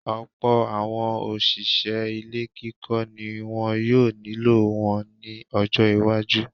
Ọ̀pọ̀̀ àwọn òṣìṣẹ́ ilé kíkọ́ ni wọn yóò nílò wọn ní ọjọ́ iwájú.